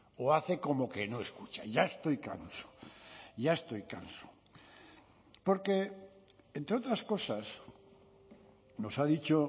o hace como que no escucha ya estoy canso ya estoy canso porque entre otras cosas nos ha dicho